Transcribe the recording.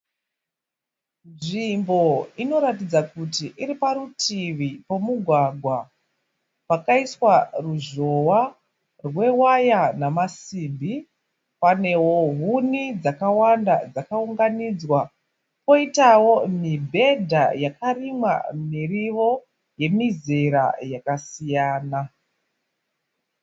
Nzvimbo inoratidza kuti iri parutivi pemugwagwa wakaiswa ruzhowa rwewaya nemasimbi. Panewo huni dzakawanda dzakaunganidzwa poitawo mibhedha yarimwa miriwo yemizera yakasiyana.